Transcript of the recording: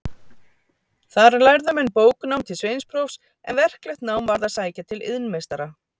Þar lærðu menn bóknám til sveinsprófs, en verklegt nám varð að sækja til iðnmeistara.